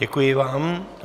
Děkuji vám.